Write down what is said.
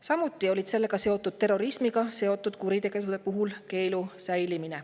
Samuti terrorismiga seotud kuritegude puhul see keeld säiliks.